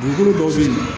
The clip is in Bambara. Dugukolo dɔw be yen nɔ